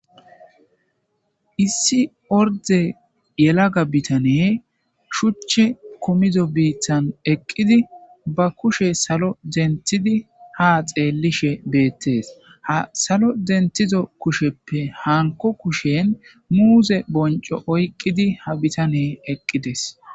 issi orde yelaga bitane shuche komido biithan eqqidi ba kushe salo denthidi ha xeellishe beettees a salo dentizo kusheppe hanko kushen muuze bonco oyqqidi ha bitane eqqides.